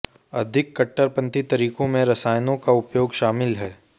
अधिक कट्टरपंथी तरीकों में रसायनों का उपयोग शामिल है